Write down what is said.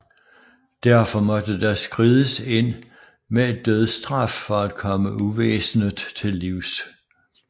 Derfor måtte der skrides ind med dødsstraf for at komme uvæsenet til livs